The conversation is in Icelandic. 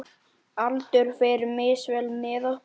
Aldur fer misvel með okkur.